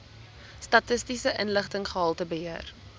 statistiese inligting gehaltebeheer